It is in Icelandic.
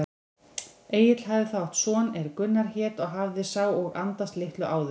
Egill hafði þá átt son er Gunnar hét og hafði sá og andast litlu áður.